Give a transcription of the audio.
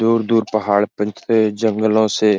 दूर-दूर पहाड़ो पंतजल जंगलो से --